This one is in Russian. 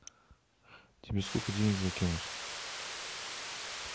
тебе сколько денег закинуть